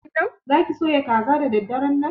Za ki soya kaza da daddaran nan?